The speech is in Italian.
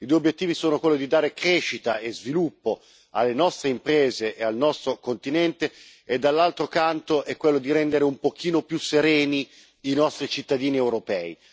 I due obbiettivi sono quello di dare crescita e sviluppo alle nostre imprese e al nostro continente, e dall'altro canto è quello di rendere un pochino più sereni i nostri cittadini europei.